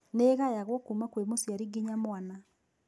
Nĩĩgayagwo kuma kwĩ mũciari nginya mwana